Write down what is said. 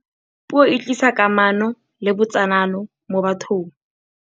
puo e tlisa kamano le botsalano mo bathong